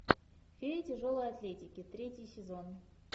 феи тяжелой атлетики третий сезон